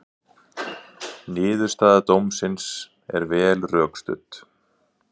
Niðurstaða dómsins er vel rökstudd